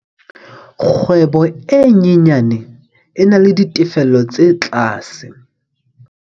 Kgwebo e nyenyane e na le ditefello tse tlase.